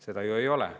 Seda ju ei ole.